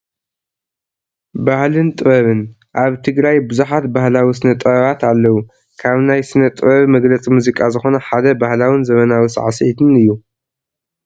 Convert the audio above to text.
ባህልን ጥበብን፡- ኣብ ትግራይ ብዙሓት ባህላዊ ስነ ጥበባት ኣለው፡፡ ካብ ናይ ስነ ጥበብ መግለፂ መዚቃ ዝኾነ ሓደ ባህላውን ዘበናዊ ሳዕሲዒት እዩ፡፡